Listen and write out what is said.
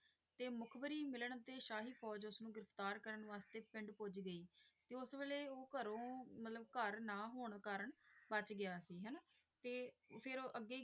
ਤੇ ਮੁਖਬਰੀ ਮਿਲਣ ਤੇ ਸ਼ਾਹੀ ਫੌਜ ਉਸਨੂੰ ਗਿਰਫ਼ਤਾਰ ਕਰਨ ਵਾਸਤੇ ਪਿੰਡ ਪੁੱਜ ਗਈ ਤੇ ਉਸ ਵੇਲੇ ਉਹ ਘਰੋਂ ਮਤਲਬ ਘਰ ਨਾ ਹੋਣ ਕਾਰਣ ਬਚ ਗਿਆ ਸੀ ਹਨਾ ਤੇ ਫਿਰ ਅੱਗੇ,